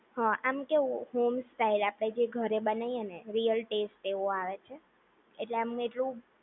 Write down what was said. આમ કેવું home style આપણે જે ઘરે બનાવીને રિયલ ટેસ્ટ એવો આવે છે. એટલે આમ એટલું